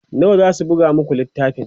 nawa zasu buga maku littafin?